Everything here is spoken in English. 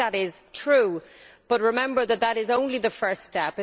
I think that is true, but remember that this is only the first step.